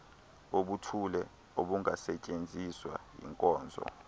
obuthile obungasetyenziswa yinkonzo